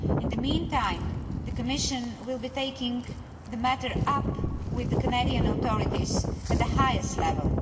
In the mean time, the Commission will be taking the matter up with the Canadian authorities at the highest level.